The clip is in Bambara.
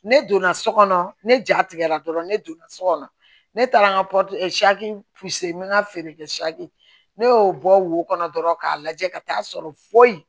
Ne donna so kɔnɔ ne jatigɛra dɔrɔn ne donna so kɔnɔ ne taara n ka n bɛ n ka feere kɛ ne y'o bɔ wo kɔnɔ dɔrɔn k'a lajɛ ka taa sɔrɔ foyi